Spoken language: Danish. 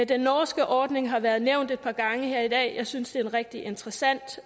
den norske ordning har været nævnt et par gange her i dag jeg synes det er en rigtig interessant